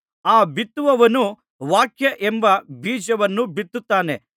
ಆ ಬಿತ್ತುವವನು ವಾಕ್ಯವೆಂಬ ಬೀಜವನ್ನು ಬಿತ್ತುತ್ತಾನೆ